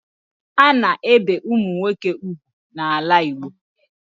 A na-ebe ụmụ nwoke ugwu n'ala Igbo